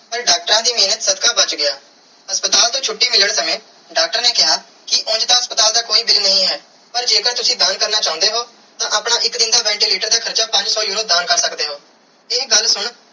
ਪਾਰ ਡਾਕਟਰਾਂ ਦੀ ਮੇਹਰ ਸਦਕਾ ਬਚ ਗਿਆ ਹਸਪਤਾਲ ਤੂੰ ਛੁਟੀ ਮਿਲਣ ਸਮੇ ਡਾਕਟਰ ਨੇ ਕੀਆ ਕੇ ਉਂਜ ਹਸਪਤਾਲ ਦਾ ਕੋਈ bill ਨਾਈ ਹੈ ਪਾਰ ਜੇ ਕਰ ਤੁਸੀਂ ਦਾਨ ਕਰਨਾ ਚਾਨੇ ਹੋ ਤਾ ਆਪਣੇ ਇਕ ਦਿਨ ਦਾ ventilator ਦਾ ਹਾਰਚਾ ਪੰਜ ਸੋ euro ਦਾਨ ਕਰ ਸਕਦੇ ਓ ਇਹ ਗੱਲ ਸੁਨ.